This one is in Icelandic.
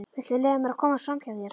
Viltu leyfa mér að komast framhjá þér!